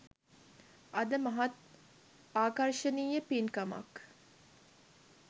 අද මහත් ආකර්ශනීය පින්කමක්